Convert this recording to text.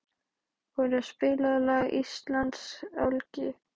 Ora, spilaðu lagið „Íslandsgálgi“.